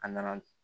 A nana